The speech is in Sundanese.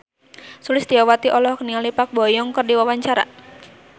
Sulistyowati olohok ningali Park Bo Yung keur diwawancara